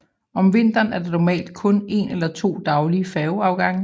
Om vinteren er der normalt kun en eller to daglige færgeafgange